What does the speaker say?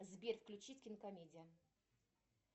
сбер включить кинокомедия